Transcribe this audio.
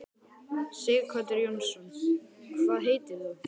Sighvatur Jónsson: Hvað heitir þú?